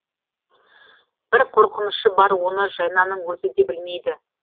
бір қорқынышы бар оны жайнаның өзі де білмейді